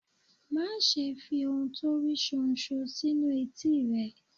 Má ṣe fi ohun tó rí ṣóńṣó sínu etí ẹ.